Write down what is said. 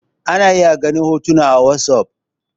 ana iya ganin hotuna a wasof